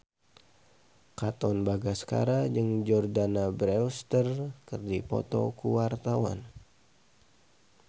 Katon Bagaskara jeung Jordana Brewster keur dipoto ku wartawan